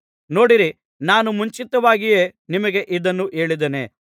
ನೋಡಿರಿ ನಾನು ಮುಂಚಿತವಾಗಿಯೇ ನಿಮಗೆ ಇದನ್ನು ಹೇಳುತ್ತಿದ್ದೇನೆ